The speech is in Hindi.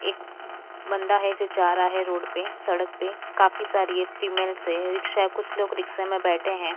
एक बंदा है जो जा रहा है रोड पे सड़क पे काफी सारी ये फीमेल्स है रिक्शा कुछ लोग रिक्शा में बैठे है।